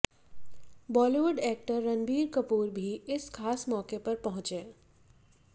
Bollywood actor Ranbir Kapoor भी इस खास मौके पर पंहुचे